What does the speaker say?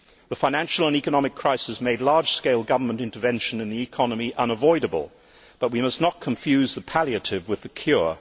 The financial and economic crisis made large scale government intervention in the economy unavoidable but we must not confuse the palliative with the cure.